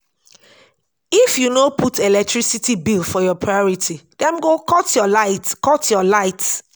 if you no put electricity bills for your priority dem go cut your light. cut your light.